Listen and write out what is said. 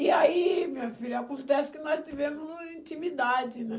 E aí, minha filha, acontece que nós tivemos intimidade, né?